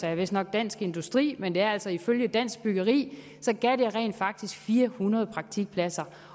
jeg vistnok dansk industri men det er altså ifølge dansk byggeri gav det rent faktisk fire hundrede praktikpladser